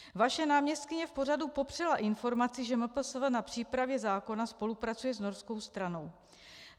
Vaše náměstkyně v pořadu popřela informaci, že MPSV na přípravě zákona spolupracuje s norskou stranou.